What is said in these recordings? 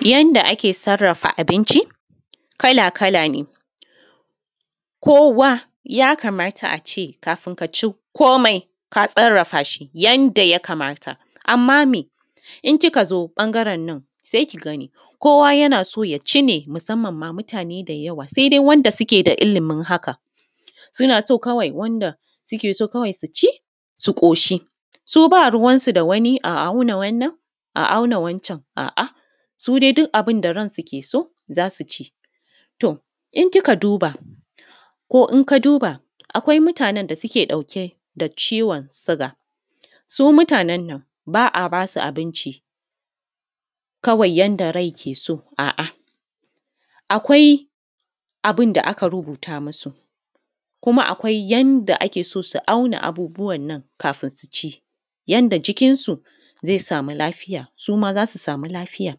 Yanda ake sarrafa abinci kala-kalan e kowa ya kamata a ce kafin ka ci komai ka sarrafa shi yanda ya kamata, anma in kika zo ɓangaren nan se ki gani kowa yana so ya ci ne, musanman mutane da yawa sai dai wanda suke da yawa suna so kawai wanda suke so su ci su ƙoshi su ba ruwansu da a auna. Wannan a auna, wancan su dai duk abin da ya zo su ci, to in kika duba ko in ka duba, akwai mutanen da suke ɗauke da ciwon shuga, su mutanen nan ba a ba su abinci kawai yanda rai ke so, a’a akwai abin da aka rubuta musu ko akwai yanda ake so su auna abun kafin su ci, yanda jikinsu zai sama lafiya su ma za su sama lafiya,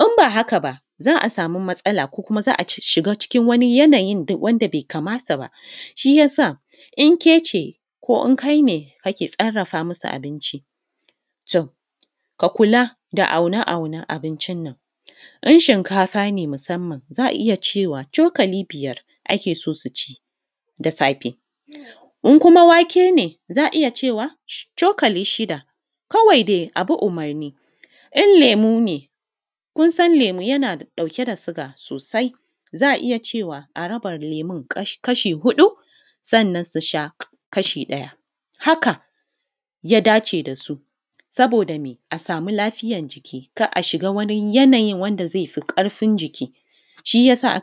in ba haka ba za a sama matsala ko kuma za a shiga cikin yanayi wanda be kamata ba. Shi ya sa in ke ce ko in kai ne kake sarrafa musu abinci ka kula da aune-aunen abincin nan in shinkafa ne musannam za a cewa cokali biyar suke so su ci da safe in kuma wake ne za a iya cewa cokali shida, kawai dai a bi jiki in lemu ne suna ɗauke da sugar sosai za a iya cewa a raba lemun kashi huɗu, sannan su sha kashi ɗaya, haka yada ce da su saboda m,e a samu lafiyan jiki kar a shiga wani yanayi da yafi ƙarfin jiki shi ya sa.